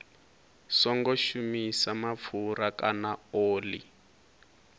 songo shumisa mapfura kana oḽi